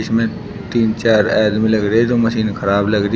में तीन चार आदमी लग रहे जो मशीन खराब लग रही--